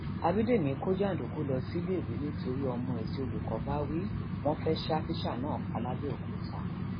ábídẹmì kò jàǹdùkú lọ síléèwé nítorí ọmọ ẹ tí olùkọ bá wí wọn fẹẹ fẹẹ ṣa tíṣà náà pa làbẹòkúta